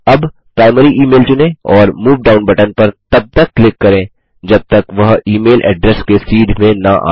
अब primary email चुनें और मूव डाउन बटन पर तब तक क्लिक करें जब तक वह e मैल एड्रेस के सीध में न आ जाय